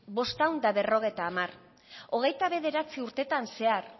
bostehun eta berrogeita hamar hogeita bederatzi urteetan zehar